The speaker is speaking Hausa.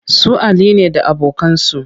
Su Ali ne da abokansu